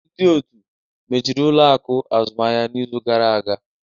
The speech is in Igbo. Ndị otu mechiri ụlọ akụ azụmaahịa n'izu gara aga